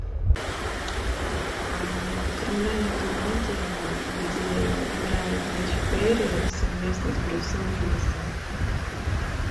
криминальная комедия где играет мэтью перри совместно с брюсом уиллисом